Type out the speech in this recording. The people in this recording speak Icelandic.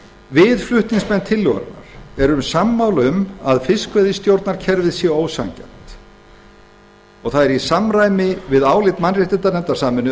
við flutningsmenn tillögunnar erum sammála um að fiskveiðistjórnarkerfið sé ósanngjarnt það er í samræmi við álit mannréttindanefndar sameinuðu